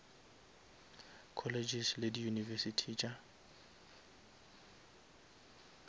colleges le di univesities tša